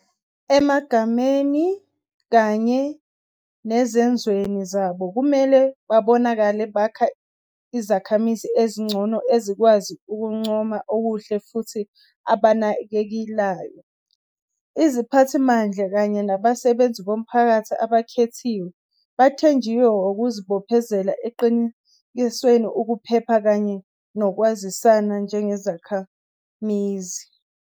Emagameni kanye nesezenzweni zabo, kumele babonakale bakha izikhamizi ezingcono ezikwazi ukuncoma okuhle futhi abanakekelayo. Iziphathimandla kanye nabasebenzi bomphakathi abakhethiweyo bathenjiwe ngokuzibophezela ekuqinekiseni ukuphepha kanye nokwazisana njengezakhamizi.